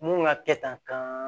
Mun ka kɛ tan